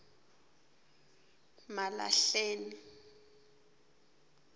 malahleni